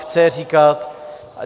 Chce je říkat.